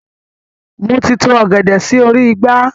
Moti to ọ̀gẹ̀dẹ̀ sì orí igbá.